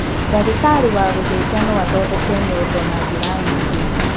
Ndagĩtarĩ wa gũthĩnja no athondeke nyondo na njĩra nyingĩ.